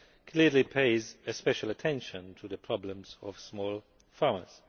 clearly pays special attention to the problems of small farmers.